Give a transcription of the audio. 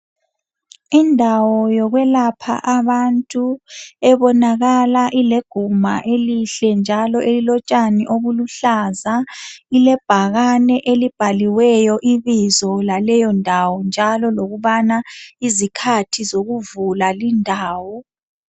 indawo yokwelapha abantu ebonakala ileguma elihle njalo elilotshani obuluhlaza ilebhakane elibhaliweyo ibizo laleyo ndawo njalo lokubana izikhathi zokuvula lindawo